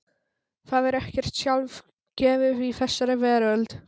Það er ekkert sjálfgefið í þessari veröld.